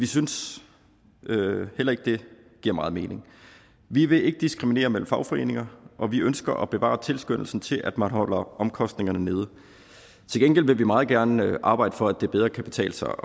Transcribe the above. synes vi heller ikke giver meget mening vi vil ikke diskriminere mellem fagforeninger og vi ønsker at bevare tilskyndelsen til at man holder omkostningerne nede til gengæld vil vi meget gerne arbejde for at det bedre kan betale sig